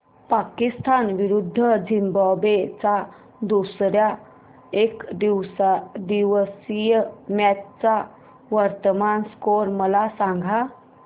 पाकिस्तान विरुद्ध झिम्बाब्वे च्या दुसर्या एकदिवसीय मॅच चा वर्तमान स्कोर मला सांगा